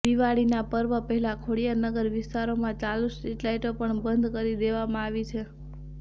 દિવાળીના પર્વ પહેલા ખોડિયારનગર વિસ્તારોમાં ચાલુ સ્ટ્રીટલાઇટો પણબંધ કરી દેવામાં આવી છે